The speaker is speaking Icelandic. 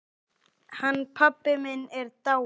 Hann pabbi minn er dáinn.